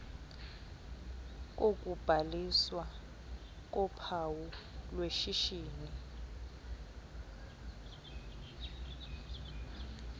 kokubhaliswa kophawu lweshishini